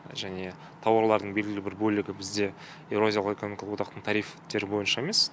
және тауарлардың белгілі бір бөлігі бізде еуразиялық экономикалық одақтың тарифтері бойынша емес